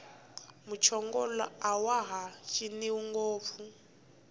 muchongolo awaha ciniwi ngopfu